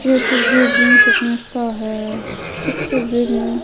यह तस्वीर gym fitness का है इस तस्वीर में--